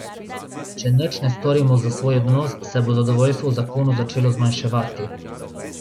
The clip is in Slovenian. Če nič ne storimo za svoj odnos, se bo zadovoljstvo v zakonu začelo zmanjševati.